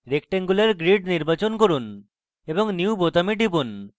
rectangular grid নির্বাচন করুন এবং new বোতামে টিপুন